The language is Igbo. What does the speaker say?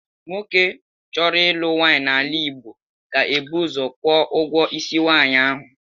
Nwoke chọrọ ịlụ nwaanyị n’ala Igbo ga-ebu ụzọ kwụọ ụgwọ isi nwaanyị ahụ.